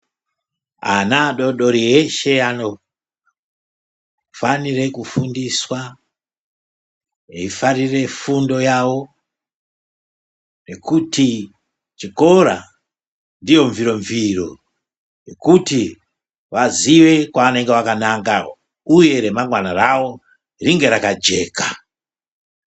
Ana adoodori eshe anofanire kufundiswa, eifarire fundo yawo nekuti chikora ndiyo mviro-mviro yekuti vazive kwavanenge vakananga uye ramangwana rawo ringe rakajeka.